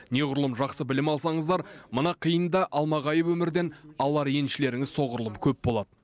неғұрлым жақсы білім алсаңыздар мына қиын да алмағайып өмірден алар еншілеріңіз соғұрлым көп болады